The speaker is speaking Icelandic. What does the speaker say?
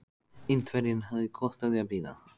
Indverjinn hafði gott af því að bíða.